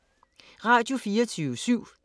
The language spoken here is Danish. Radio24syv